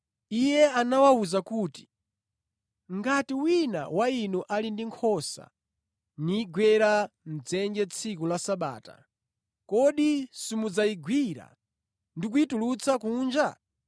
Iye anawawuza kuti, “Ngati wina wa inu ali ndi nkhosa nigwera mʼdzenje tsiku la Sabata, kodi simudzayigwira ndi kuyitulutsa kunja?